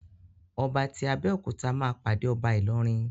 Ọba ti Abéòkúta ma pàdé ọba Ilorin.